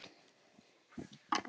Hafði alltaf gott minni.